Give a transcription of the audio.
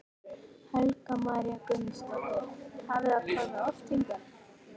Helga María Guðmundsdóttir: Hafið þið komið oft hingað?